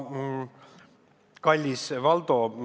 Kallis Valdo!